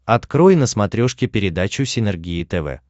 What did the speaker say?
открой на смотрешке передачу синергия тв